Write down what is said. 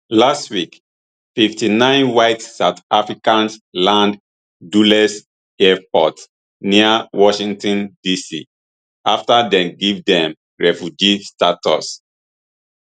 last week fifty-nine white south africans land dulles airport near washington dc afta dem give dem refugee status